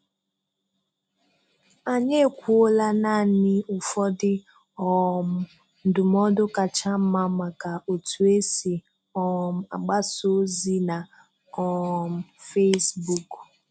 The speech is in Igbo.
Anyị ekwuola naanị ụfọdụ um ndụmọdụ kacha mma maka otu esi um agbasa ozi na um Facebook.